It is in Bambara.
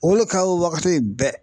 O le ka wagati bɛɛ